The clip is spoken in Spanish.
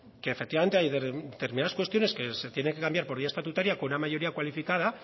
que efectivamente hay determinadas cuestiones que se tienen que cambiar por vía estatutaria con una mayoría cualificada